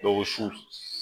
Dɔ ko su